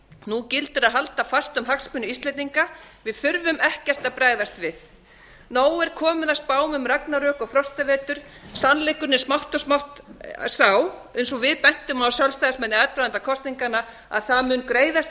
nú gildir að halda fast um hagsmuni íslendinga við þurfum ekkert að bregðast við nóg er komið af spám um ragnarök og frostavetur sannleikurinn er smátt og smátt sá eins og við bentum á sjálfstæðismenn í aðdraganda kosninganna að það mun greiðast úr